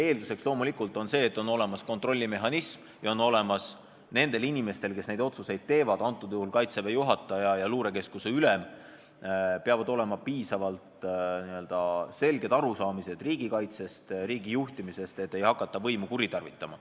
Eeldus on loomulikult see, et on olemas kontrollmehhanism ja nendel inimestel, kes neid otsuseid teevad – antud juhul on need Kaitseväe juhataja ja luurekeskuse ülem –, peavad olema piisavalt selged arusaamad riigikaitsest ja riigi juhtimisest, et ei hakata võimu kuritarvitama.